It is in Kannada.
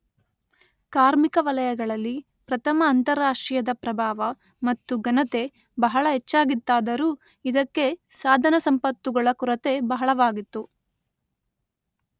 ಕಾರ್ಮಿಕ ವಲಯಗಳಲ್ಲಿ ಪ್ರಥಮ ಅಂತಾರಾಷ್ಟ್ರೀಯದ ಪ್ರಭಾವ ಮತ್ತು ಘನತೆ ಬಹಳ ಹೆಚ್ಚಾಗಿತ್ತಾದರೂ ಇದಕ್ಕೆ ಸಾಧನಸಂಪತ್ತುಗಳ ಕೊರತೆ ಬಹಳವಾಗಿತ್ತು.